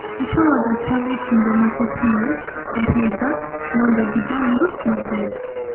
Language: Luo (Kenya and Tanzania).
Ichwoyoga cham e kinde moko sie e higa mondo gidong maber.